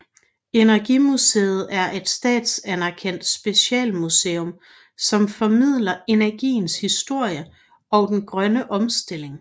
Energimuseet er et statsanerkendt specialmuseum som formidler energiens historie og den grønne omstilling